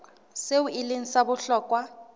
seo e leng sa bohlokwa